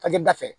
da fɛ